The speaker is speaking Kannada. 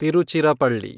ತಿರುಚಿರಪಳ್ಳಿ